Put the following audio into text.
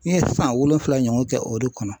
N ye san wolonwula ɲɔgɔn kɛ o de kɔnɔ